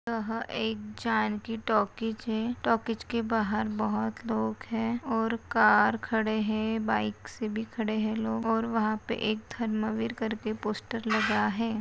यह एक जानकी टॉकीज है टॉकीज के बाहर बहुत लोग है और कार खडे है और बाइक से भी खडे है लोग और वहपे एक से धर्मवीर करके पोस्टर लगा है।